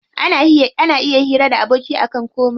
Ana iya hira da aboki akan komai.